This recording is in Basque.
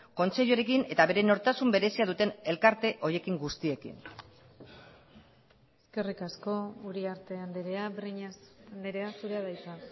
kontseiluarekin eta bere nortasun berezia duten elkarte horiekin guztiekin eskerrik asko uriarte andrea breñas andrea zurea da hitza